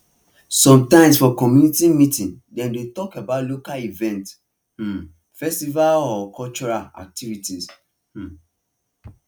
sometimes for community meeting dem dey talk about local events um festival or cultural activities um